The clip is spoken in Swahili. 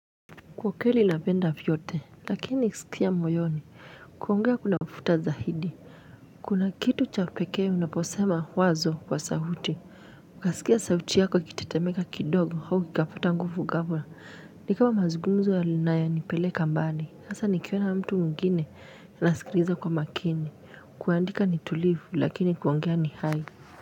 Kwa kweli napenda vyote lakini skia moyoni kuongea kunafuta zaidi kuna kitu cha pekee unapesema wazo kwa sauti. Ukaskia sauti yako ikitetemeka kidogo au kikapata nguvu ghafla ni kama mazungumzo yanayonipeleka mbali sasa nikiona mtu mwingine nasikiliza kwa makini kuandika ni tulivu lakini kuongea ni hai.